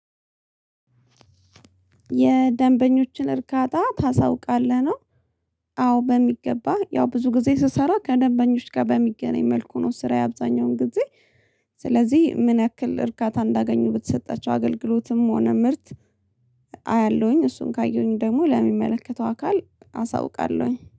የደንበኞችን እርካታ ታሳውቃለህ ነው። አዎ በሚገባ ያው ብዙ ጊዜ ስሰራ ከደንበኞች ጋር በሚገናኝ መልኩ ነው ስራዬ አብዛኛውን ጊዜ ስለዚህ ምን ያክል እርካታ እንዳገኙ በተሰጣቸው አገልግሎትም ሆነ ምርት። አያለሁኝ እሱን ካየሁኝ ደግሞ ለሚመለከተው አካል አሳውቃለሁኝ